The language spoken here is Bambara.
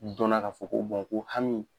dɔnna k'a fɔ ko ko hami